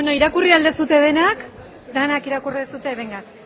irakurri ahal duzue denak denak irakurri duzue